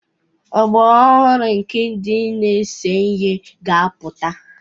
Ọgbọ ọhụrụ nke ndị na-ese ihe ga-apụta